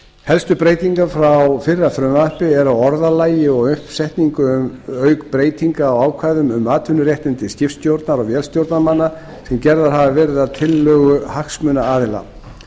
helstu breytingar frá fyrra frumvarpi eru á orðalagi og uppsetningu auk breytinga á ákvæðum um atvinnuréttindi skipstjórnar og vélstjórnarmanna sem gerðar hafa verið að tillögu hagsmunaaðila